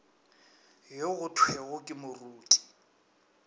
yo go thwego ke moruti